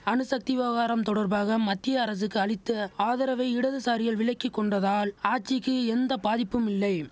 அணுசக்தி விவகாரம் தொடர்பாக மத்திய அரசுக்கு அளித்த ஆதரவை இடதுசாரிகள் விலக்கி கொண்டதால் ஆட்சிக்கு எந்த பாதிப்பும் இல்லை